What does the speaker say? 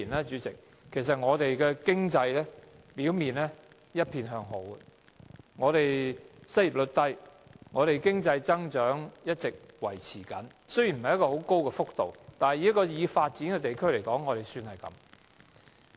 主席，過去數年，香港經濟表面上一片向好，失業率低，經濟增長一直維持，增幅雖然不是很高，但以一個已發展地區而言已算不錯。